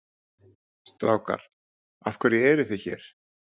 Strákar af hverju eruð þið hér?